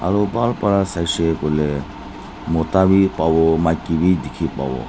aro bhal pra saishey koilae mato pa pawo maki bi dikhipawo--